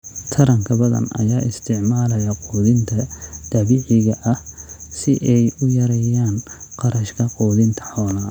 Taranka badan ayaa isticmaalaya quudinta dabiiciga ah si ay u yareeyaan kharashka quudinta xoolaha.